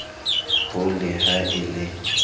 ho le ha e le